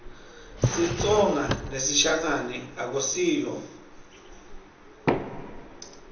sitsonga nesishangane akusiyo